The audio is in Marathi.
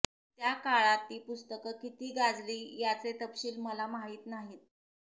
त्या काळात ती पुस्तकं किती गाजली याचे तपशील मला माहीत नाहीत